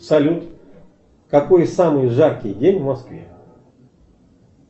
салют какой самый жаркий день в москве